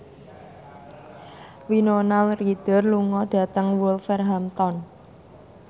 Winona Ryder lunga dhateng Wolverhampton